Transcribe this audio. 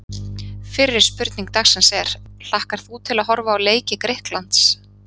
Fyrri spurning dagsins er: Hlakkar þú til að horfa á leiki Grikklands?